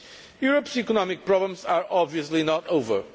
Europe's economic problems are obviously not over.